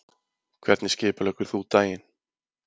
Hvernig skipuleggur þú daginn?